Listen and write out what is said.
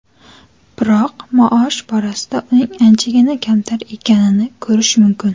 Biroq maosh borasida uning anchagina kamtar ekanini ko‘rish mumkin.